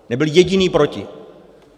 Nebyl jediný proti.